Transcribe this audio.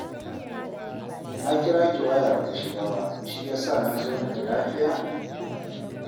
Na kira ki waya ba ta shiga, shi ya sa na zo na ji lafiya?